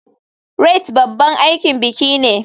Rite babban aikin biki ne.